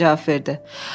kapitan cavab verdi.